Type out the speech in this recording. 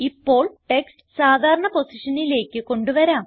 ഇപ്പോൾ ടെക്സ്റ്റ് സാധാരണ പൊസിഷനിലേക്ക് കൊണ്ട് വരാം